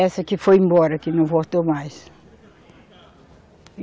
Essa que foi embora, que não voltou mais.